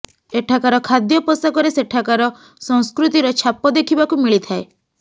ଏଠାକାର ଖାଦ୍ୟ ପୋଷାକରେ ସେଠାକାର ସଂସ୍କୃତିର ଛାପ ଦେଖିବାକୁ ମିଳିଥାଏ